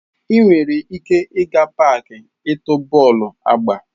Ị nwere ike ịga n'paaki ịtu bọọlụ agba.